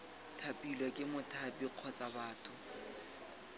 thapilwe ke mothapi kgotsa batho